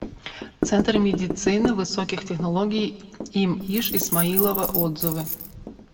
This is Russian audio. центр медицины высоких технологий им иш исмаилова отзывы